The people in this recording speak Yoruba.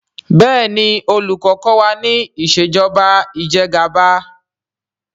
béèni olùkó kò wá nípa Ìṣèjọba Ìjẹgàba.